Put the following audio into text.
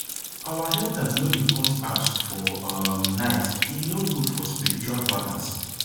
our elders no dey cut herbs for um nite no good for spiritual balance